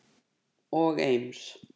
og Eims